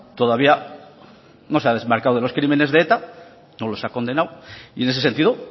todavía no se ha desmarcado de los crímenes de eta no los ha condenado y en ese sentido